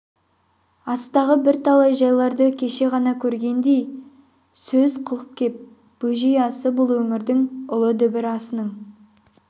астағы бірталай жайларды кеше ғана көргендей сөз қылып кеп бөжей асы бұл өңірдің ұлы дүбір асының